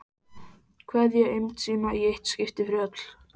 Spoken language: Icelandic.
Kveðja eymd sína í eitt skipti fyrir öll.